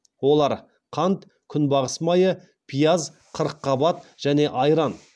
олар қант күнбағыс майы пияз қырыққабат және айран